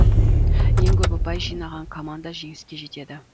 ең көп ұпай жинаған команда жеңіске жетеді